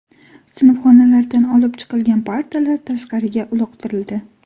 Sinfxonalardan olib chiqilgan partalar tashqariga uloqtirildi .